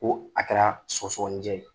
Ko a kɛra soɔgɔsɔninjɛ ye.